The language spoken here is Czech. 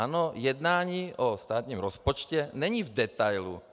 Ano, jednání o státním rozpočtu není v detailu.